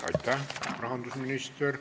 Avan läbirääkimised.